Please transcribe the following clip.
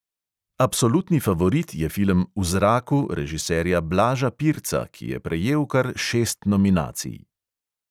Absolutni favorit je film v zraku režiserja blaža pirca, ki je prejel kar šest nominacij.